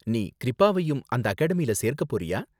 நீ க்ரிப்பாவையும் அந்த அகாடமியில சேர்க்க போறியா?